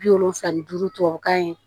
Bi wolonfila ni duuru tubabukan